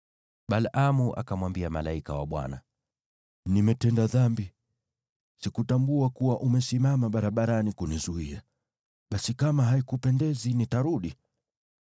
Balaamu akamwambia malaika wa Bwana , “Nimetenda dhambi. Sikutambua kuwa umesimama barabarani kunizuia. Basi kama haikupendezi, nitarudi.”